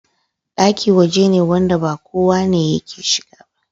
Ɗaki waje ne wanda ba kowa ne yake shiga ba